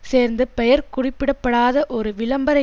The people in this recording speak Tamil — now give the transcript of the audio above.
சேர்ந்து பெயர் குறிப்பிட படாத ஒரு விளம்பர